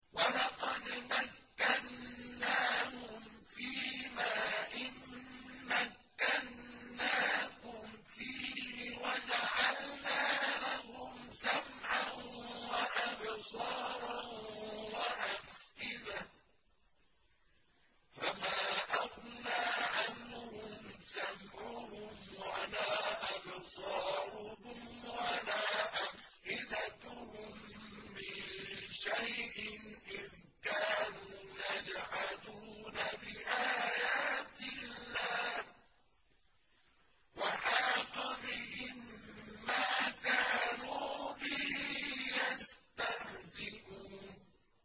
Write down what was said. وَلَقَدْ مَكَّنَّاهُمْ فِيمَا إِن مَّكَّنَّاكُمْ فِيهِ وَجَعَلْنَا لَهُمْ سَمْعًا وَأَبْصَارًا وَأَفْئِدَةً فَمَا أَغْنَىٰ عَنْهُمْ سَمْعُهُمْ وَلَا أَبْصَارُهُمْ وَلَا أَفْئِدَتُهُم مِّن شَيْءٍ إِذْ كَانُوا يَجْحَدُونَ بِآيَاتِ اللَّهِ وَحَاقَ بِهِم مَّا كَانُوا بِهِ يَسْتَهْزِئُونَ